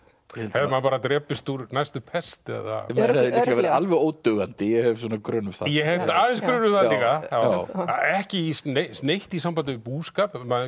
hefði maður bara drepist úr næstu pest eða maður hefði líklega verið alveg ódugandi ég hef svona grun um það ég hef aðeins grun um það líka ekki neitt neitt í sambandi við búskap maður